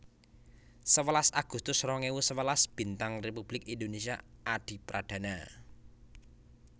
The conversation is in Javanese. Sewelas agustus rong ewu sewelas Bintang Republik Indonésia Adipradana